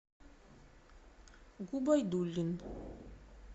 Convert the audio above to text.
губайдуллин